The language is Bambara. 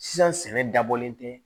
Sisan sɛnɛ dabɔlen tɛ